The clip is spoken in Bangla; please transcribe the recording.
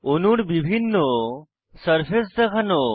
অনূর বিভিন্ন সারফেস দেখানো